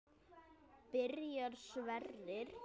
Byrjar Sverrir?